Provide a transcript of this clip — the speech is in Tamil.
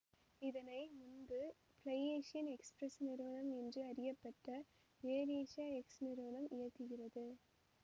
இதனை முன்பு பிளைஏசியன்எக்சுபிரசு நிறுவனம் என்று அறியப்பட்ட எயர் ஏசியா எக்சு நிறுவனம் இயக்குகிறது